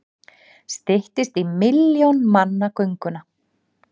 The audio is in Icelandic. Styttist í milljón manna gönguna